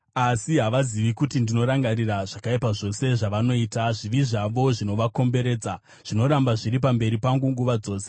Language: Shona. asi havazivi kuti ndinorangarira zvakaipa zvose zvavanoita. Zvivi zvavo zvinovakomberedza; zvinoramba zviri pamberi pangu nguva dzose.